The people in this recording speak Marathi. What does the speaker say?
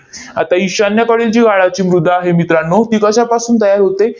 आता ईशान्येकडील जी गाळाची मृदा आहे मित्रांनो, ती कशापासून तयार होते?